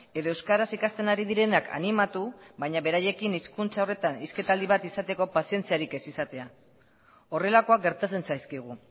edo euskaraz ikasten ari direnak animatu baina beraiekin hizkuntza horretan hizketaldi bat izateko pazientziarik ez izatea horrelakoak gertatzen zaizkigu